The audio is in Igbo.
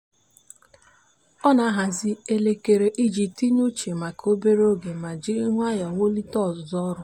a na m amalite site n'obere ọrụ mbụ iji wulite mmụọ m ma zere igbu oge ihe niile. ihe niile.